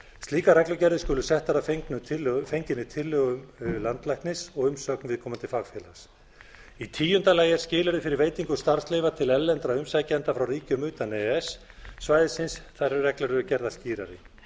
slíkar reglugerðir skulu settar að fenginni tillögu landlæknis og umsögn viðkomandi fagfélags í tíunda lagi er skilyrði fyrir veitingu starfsleyfa til erlendra umsækjenda frá ríkjum utan e e s svæðisins þær reglur eru gerðar skýrari